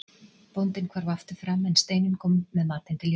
Bóndinn hvarf aftur fram en Steinunn kom með matinn til Jóru.